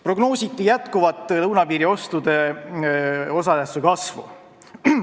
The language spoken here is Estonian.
Prognoositi jätkuvat lõunapiiriostude osatähtsuse kasvu.